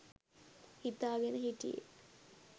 හිතා ගෙන හිටියේ.